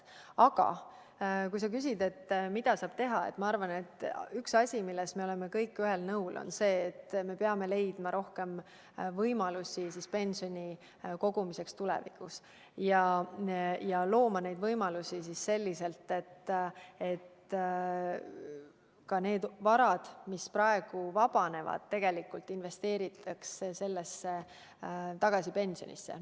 Aga kui sa küsid, mida saab teha, siis ma arvan, et üks asi, milles me oleme kõik ühel nõul, on see, et me peame leidma rohkem võimalusi pensioni kogumiseks tulevikus ja looma neid võimalusi selliselt, et ka need varad, mis praegu vabanevad, investeeritaks tagasi pensionidesse.